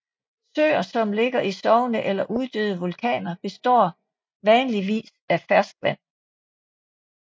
Søer som ligger i sovende eller uddøde vulkaner består vanligvis af ferskvand